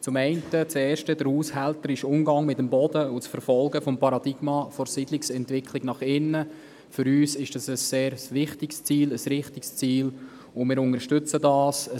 Das erste Ziel, der haushälterische Umgang mit dem Boden und das Verfolgen des Paradigmas der Siedlungsentwicklung nach innen, ist für uns sehr wichtig und richtig, und wir unterstützen es.